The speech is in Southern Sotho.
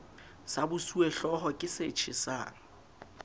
sa bosuwehlooho ke se tjhesang